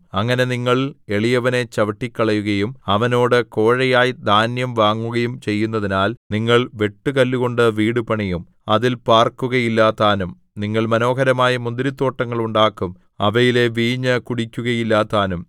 അങ്ങനെ നിങ്ങൾ എളിയവനെ ചവിട്ടിക്കളയുകയും അവനോട് കോഴയായി ധാന്യം വാങ്ങുകയും ചെയ്യുന്നതിനാൽ നിങ്ങൾ വെട്ടുകല്ലുകൊണ്ട് വീടു പണിയും അതിൽ പാർക്കുകയില്ലതാനും നിങ്ങൾ മനോഹരമായ മുന്തിരിത്തോട്ടങ്ങൾ ഉണ്ടാക്കും അവയിലെ വീഞ്ഞ് കുടിക്കുകയില്ലതാനും